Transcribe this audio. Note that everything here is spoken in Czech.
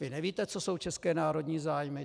Vy nevíte, co jsou české národní zájmy?